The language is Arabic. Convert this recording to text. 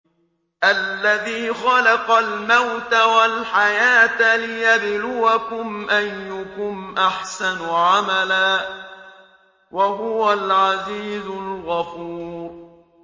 الَّذِي خَلَقَ الْمَوْتَ وَالْحَيَاةَ لِيَبْلُوَكُمْ أَيُّكُمْ أَحْسَنُ عَمَلًا ۚ وَهُوَ الْعَزِيزُ الْغَفُورُ